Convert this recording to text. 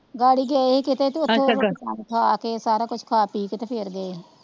ਗਾਡੀ ਗਏ ਸੀ ਕੀਤੇ ਤੇ ਸਾਰ ਕੁਝ ਖਾ ਪੀ ਕੇ ਤੇ ਫਿਰ ਗਏ,